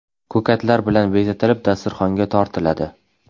Ko‘katlar bilan bezatilib, dasturxonga tortiladi.